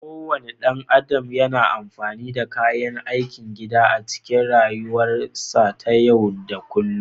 Kowane ɗan adam yana amfani da kayan aikin gida a cikin rayuwarsa ta yau da kullun